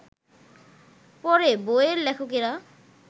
পরে বইয়ের লেখকরা